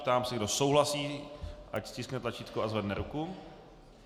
Ptám se, kdo souhlasí, ať stiskne tlačítko a zvedne ruku.